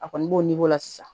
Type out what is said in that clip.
A kɔni b'o la sisan